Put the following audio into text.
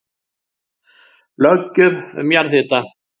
Löggjöf um jarðhita